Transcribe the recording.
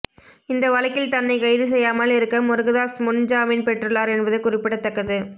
இந்த வழக்கில் தன்னை கைது செய்யாமல் இருக்க முருகதாஸ் முன் ஜாமீன் பெற்றுள்ளார் என்பது குறிப்பிடத்தக்கது